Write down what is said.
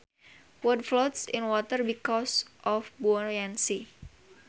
Wood floats in water because of buoyancy